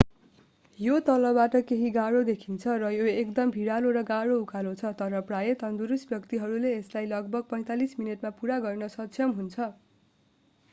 यो तलबाट केही गाह्रो देखिन्छ र यो एक एकदम भिरालो र गाह्रो उकालो छ तर प्रायः तन्दुरुस्त व्यक्तिहरूले यसलाई लगभग 45 मिनेटमा पूरा गर्न सक्षम हुन्छ